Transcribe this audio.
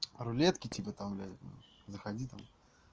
рулетки типа там блядь заходи там